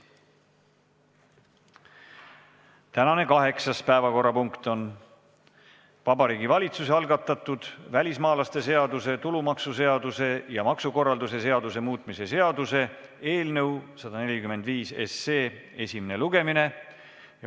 Tänane kaheksas päevakorrapunkt on Vabariigi Valitsuse algatatud välismaalaste seaduse, tulumaksuseaduse ja maksukorralduse seaduse muutmise seaduse eelnõu esimene lugemine.